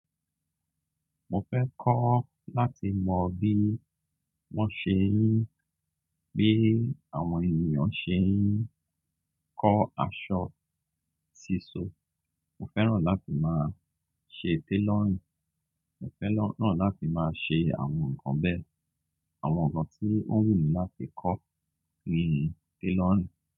Mo fẹ́ kọ́ láti mọ bí wọ́n ṣe ń gbé àwọn ènìyàn ṣe ń kọ́ aṣọ, ṣíṣọ. Mo fẹ́ràn láti máa ṣe tailorìng. Mo fẹ́ràn náà láti máa ṣe àwọn nǹkan bẹ́ẹ̀, àwọn nǹkan tí wọ́n wù mí láti kọ́ nínú tẹlọ̀rì.